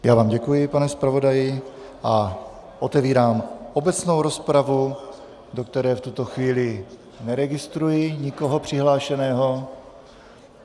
Já vám děkuji, pane zpravodaji, a otevírám obecnou rozpravu, do které v tuto chvíli neregistruji nikoho přihlášeného.